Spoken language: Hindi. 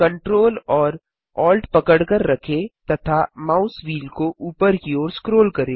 ctrl और alt पकड़कर रखें तथा माउस व्हील को ऊपर की ओर स्क्रोल करें